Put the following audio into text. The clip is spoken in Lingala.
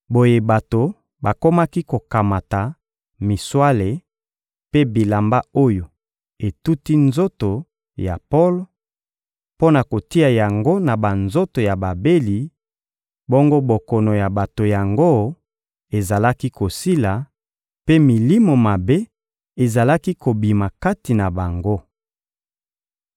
Boye bato bakomaki kokamata miswale mpe bilamba oyo etuti nzoto ya Polo, mpo na kotia yango na banzoto ya babeli, bongo bokono ya bato yango ezalaki kosila, mpe milimo mabe ezalaki kobima kati na bango.